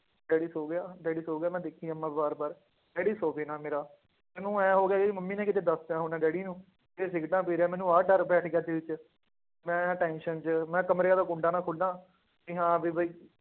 daddy ਸੌ ਗਿਆ daddy ਸੌ ਗਿਆ, ਮੈਂ ਦੇਖੀ ਜਾਵਾਂ ਬਾਰ ਬਾਰ ਡੈਡੀ ਸੋਵੇ ਨਾ ਮੇਰਾ, ਮੈਨੂੰ ਇਉਂ ਹੋ ਗਿਆ ਵੀ ਮੰਮੀ ਨੇ ਕਿਤੇ ਦੱਸ ਦਿੱਤਾ ਹੋਣਾ ਡੈਡੀ ਨੂੰ, ਇਹ ਸਿਗਰਟਾਂ ਪੀ ਰਿਹਾ ਮੈਨੂੰ ਆਹ ਡਰ ਪੈ ਸੀਗਾ ਦਿੱਲ ਚ, ਮੈਂ tension ਚ ਮੈਂ ਕਮਰੇ ਵਾਲਾ ਕੁੰਡਾ ਨਾ ਖੋਲਾਂ ਕਿ ਹਾਂ ਵੀ ਬਾਈ